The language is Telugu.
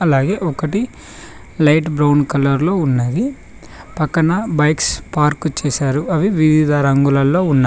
అలాగే ఒకటి లైట్ బ్రౌన్ కలర్ లో ఉన్న పక్కన బైక్స్ పార్క్ చేశారు అవి వివిధ రంగులలో ఉన్నయి.